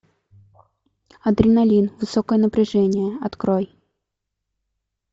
адреналин высокое напряжение открой